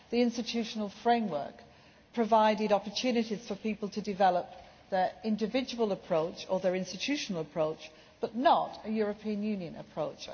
The institutional framework provided opportunities for people to develop their individual approach or their institutional approach, but not a European Union approach.